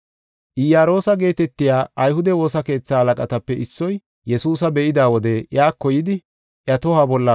Iyaroosa geetetiya ayhude woosa keetha halaqatape issoy, Yesuusa be7ida wode iyako yidi iya tohuwa bolla